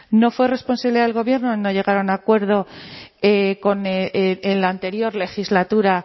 no fue responsabilidad del gobierno no llegar a un acuerdo en la anterior legislatura